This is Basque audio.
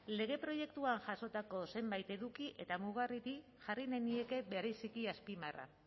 lege proiektuan jasotako zenbait eduki eta mugarriri jarri nahi nieke bereziki azpimarra